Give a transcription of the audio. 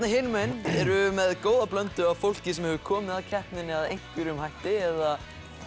hinum megin erum við með góða blöndu af fólki sem hefur komið að keppninni að einhverjum hætti eða